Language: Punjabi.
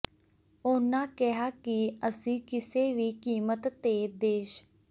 ਉਹਨਾਂ ਕਿਹਾ ਕਿ ਅਸੀਂ ਕਿਸੇ ਵੀ ਕੀਮਤ ਤੇ ਦੇਸ਼